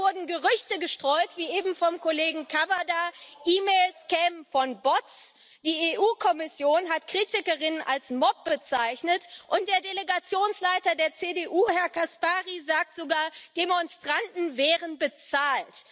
Da wurden Gerüchte gestreut wie eben vom Kollegen Cavada E Mails kämen von Bots, die EU Kommission hat Kritikerinnen als Mob bezeichnet, und der Delegationsleiter der CDU, Herr Caspary, sagt sogar, Demonstranten wären bezahlt.